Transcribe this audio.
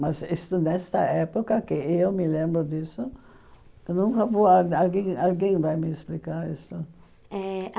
Mas isto nesta época que eu me lembro disso, eu nunca vou... Alguém alguém vai me explicar isso. Eh a